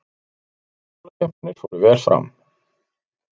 Jólaskemmtanir fóru vel fram